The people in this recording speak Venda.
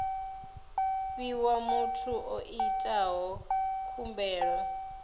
fhiwa muthu o itaho khumbelo